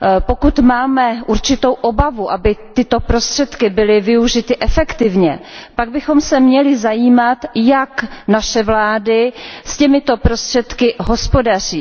Pokud máme určitou obavu, aby tyto prostředky byly využity efektivně, pak bychom se měli zajímat, jak naše vlády s těmito prostředky hospodaří.